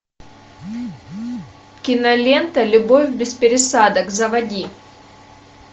кинолента любовь без пересадок заводи